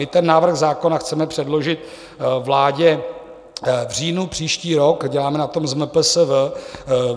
My ten návrh zákona chceme předložit vládě v říjnu příští rok, děláme na tom s MPSV.